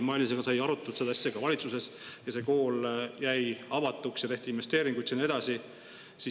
Mailisega sai arutatud seda asja ka valitsuses, see kool jäi avatuks ja tehti investeeringuid sinna edasi.